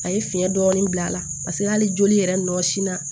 A ye fiɲɛ dɔɔni bila a la paseke hali joli yɛrɛ nɔ sin na